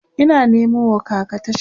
Ina Nemo wa kaka tashan